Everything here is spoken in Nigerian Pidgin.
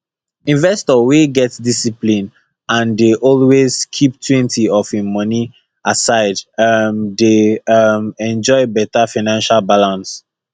investor wey get discipline and dey always keeptwentyof him money aside um dey um enjoy better financial balance